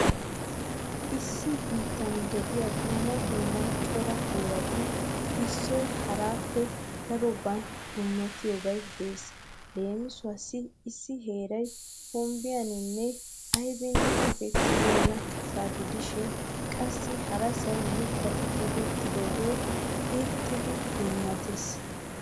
Issi biittan diya dumma dumma cora heerati issoy haraappe daroban dummatiyobay de'ees. Leemisuwawu issi heeray hombbiyanne aybinne tokettibeenasa gidishin qassi harasay mittati tokettooge irxxidi dummatees.